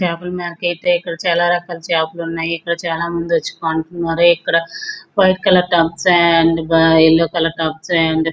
చాపల మార్కెట్ ఇక్కడ చాలా రకాల చేపలు ఉన్నాయి. ఇక్కడ చాలామంది వచ్చి కొంటున్నారు. ఇక్కడ white colour tubs and yellow colour tubs --